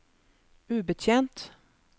ubetjent